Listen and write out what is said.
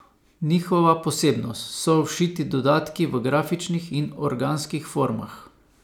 Njihova posebnost so všiti dodatki v grafičnih in organskih formah.